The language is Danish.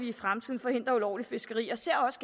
i fremtiden forhindrer ulovligt fiskeri og ser også